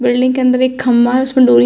building के अन्दर एक खम्भा है उसमें डोरियां --